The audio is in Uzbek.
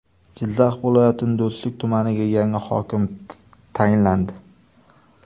Jizzax viloyatining Do‘stlik tumaniga yangi hokim tayinlandi.